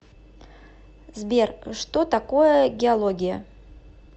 сбер что такое геология